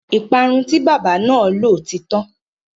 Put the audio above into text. Ìparun tí bábà náà lò ti tán.